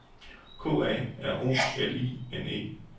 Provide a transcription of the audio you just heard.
K A R O L I N E